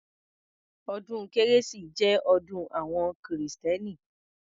Ọdún kérésì jẹ́ ọdún àwọn kìrìtẹ́nì.